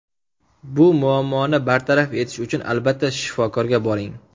Bu muammoni bartaraf etish uchun albatta shifokorga boring.